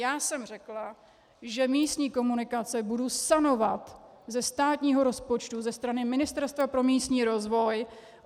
Já jsem řekla, že místní komunikace budu sanovat ze státního rozpočtu ze strany Ministerstva pro místní rozvoj.